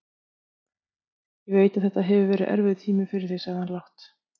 Ég veit að þetta hefur verið erfiður tími fyrir þig, sagði hann lágt.